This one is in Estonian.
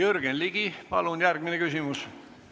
Jürgen Ligi, palun järgmine küsimus!